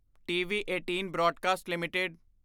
TV18 broadcast LTD